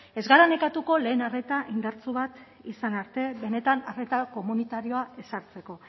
ez gara nekatuko lehen arreta indartsu bat izan arte benetan arreta komunitarioa ezartzeko